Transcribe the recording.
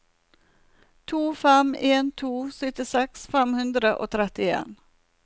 to fem en to syttiseks fem hundre og trettien